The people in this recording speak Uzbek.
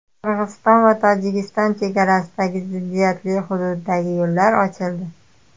Qirg‘iziston va Tojikiston chegarasidagi ziddiyatli hududdagi yo‘llar ochildi.